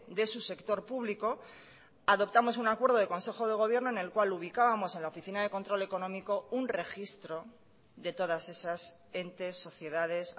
de su sector público adoptamos un acuerdo de consejo de gobierno en el cual ubicábamos en la oficina de control económico un registro de todas esas entes sociedades